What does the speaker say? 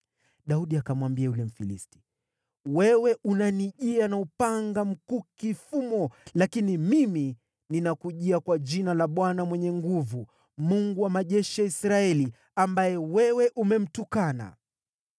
Daudi akamwambia yule Mfilisti. “Wewe unanijia na upanga, mkuki na fumo, lakini mimi ninakujia kwa jina la Bwana Mwenye Nguvu Zote, Mungu wa majeshi ya Israeli, ambaye wewe umemtukana.